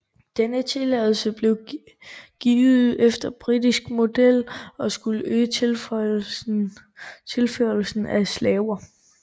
Denne tilladelse blev givet efter britisk model og skulle øge tilførslen af slaver